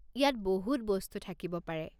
ইয়াত বহুত বস্তু থাকিব পাৰে।